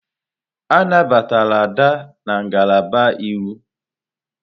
A nabatara Ada na ngalaba Iwu.